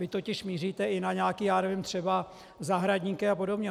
Vy totiž míříte i na nějaké, já nevím, třeba zahradníky a podobně.